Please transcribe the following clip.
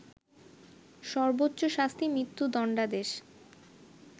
সর্ব্বোচ শাস্তি মৃত্যুদণ্ডাদেশ